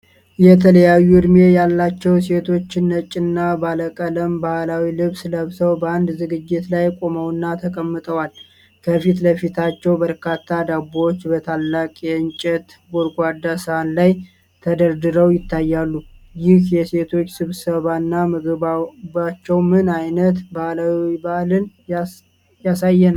የተለያዩ እድሜ ያላቸው ሴቶች ነጭና ባለቀለም ባህላዊ ልብስ ለብሰው በአንድ ዝግጅት ላይ ቆመውና ተቀምጠዋል። ከፊት ለፊታቸው በርካታ ዳቦዎች በታላቅ የእንጨት ጎድጓዳ ሳህን ላይ ተደርድረው ይታያሉ። ይህ የሴቶች ስብስብና ምግባቸው ምን አይነት ባህላዊ በዓልን ያሳያል?